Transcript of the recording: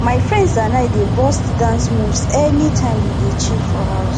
my friends and i dey burst dance moves anytime we dey chill for house